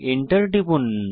enter টিপুন